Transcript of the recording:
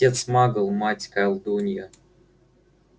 отец магл мать колдунья